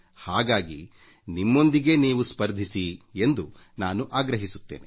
ಹಾಗಾಗಿ ನಿಮ್ಮೊಂದಿಗೇ ನೀವು ಸ್ಪರ್ಧಿಸಿ ಎಂದು ನಾನು ಆಗ್ರಹಿಸುತ್ತೇನೆ